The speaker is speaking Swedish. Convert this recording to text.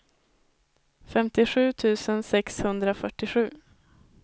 femtiosju tusen sexhundrafyrtiosju